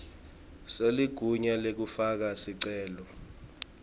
seligunya lekufaka sicelo